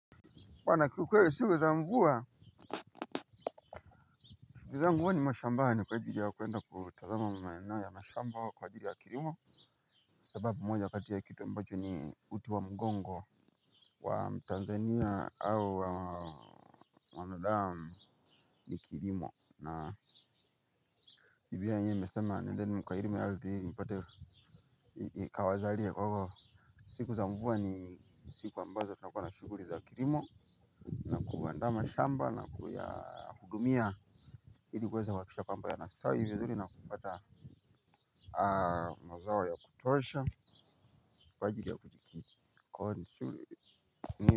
Wana kiukweli siku za mvua. Shiku za mvua ni mashamba. Hanyika hivyo kuenda kutazama mwena ya mashamba wa kwa hivyo ya kirimo. Sababu moja katia kitu ambacho ni uti wa mgongo wa mtanzania au wanadamu ni kirimo. Na hivyo ya nye meselema nendeni mkweli mialdi mpote kawazalia kwa hivyo. Siku za mvua ni siku ambazo na tunakuwa na shughulii za kirimo. Kuandama shamba na kuyahudumia hili kweza wakisha pamba ya nastawi hivyo dhuli na kupata mazao ya kutosha kwa ajili ya kujikiki.